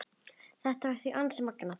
Þetta var því ansi magnað.